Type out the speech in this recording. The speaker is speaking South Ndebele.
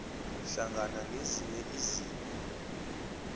hlangana nezinye izinto